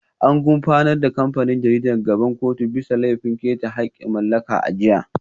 An gurfanar da kamfanin jaridar gaban kotu bisa laifin keta haƙƙin mallaka a jiya